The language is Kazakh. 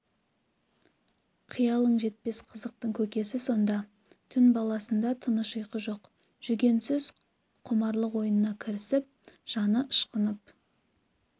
қиялың жетпес қызықтың көкесі сонда түн баласында тыныш ұйқы жоқ жүгенсіз құмарлық ойнына кірісіп жаны ышқынып